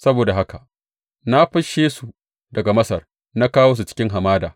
Saboda haka na fisshe su daga Masar na kawo su cikin hamada.